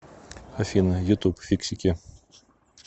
афина на ютуб фиксики